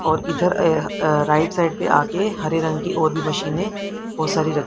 और इधर अह अ राइट साइड पे आके हरे रंग की और भी मशीनें बहोत सारी र--